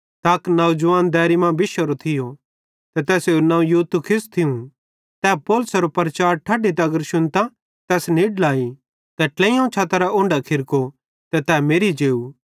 त अक नौजवान दैरी मां बिशोरो थियो ते तैसेरू नवं यूतुखुस थियूं तै पौलुसेरो प्रचार ठड्डी तगर शुन्तां तैस निड्ल आई ते ट्लेइयोवं छतरां उनढो खिरको ते तै मेरि जेव